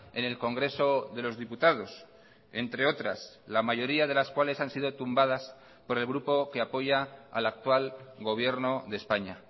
enel congreso de los diputados entre otras la mayoría de las cuales han sido tumbadas por el grupo que apoya al actual gobierno de españa